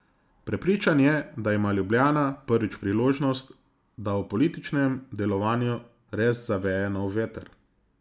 Prepričan je, da ima Ljubljana prvič priložnost, da v političnem delovanju res zaveje nov veter.